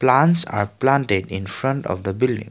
plants are planted in front of the building.